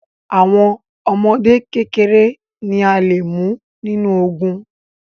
Àwọn ọmọdé kékeré ni a lè mú nínú ogùn